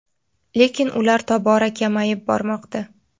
lekin ular tobora kamayib bormoqda.